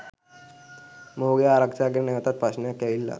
මොහුගේ ආරක්ෂාව ගැන නැවතත් ප්‍රශ්නයක් ඇවිල්ලා.